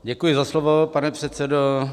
Děkuji za slovo, pane předsedo.